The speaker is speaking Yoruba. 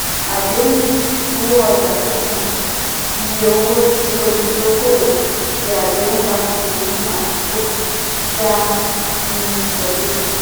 àdéhùn-owó-ọjà-sísan - iye owó tí olùdókòwò ṣe àdéhùn láti san ní àkókò tí a pinnu tẹ́lẹ̀.